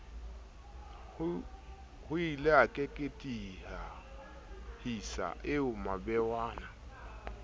hoile a keketehisa ao mabewana